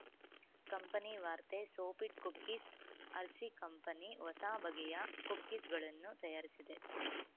ಕಂಪೆನಿವಾರ್ತೆ Sofit cookies Hershey company ಹೊಸ ಬಗೆಯ ಕುಕ್ಕೀಸ್‌ಗಳನ್ನು ತಯಾರಿಸಿದೆ